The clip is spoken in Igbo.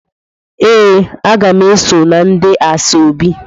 Ee, a ga m eso na ndi Asaobi.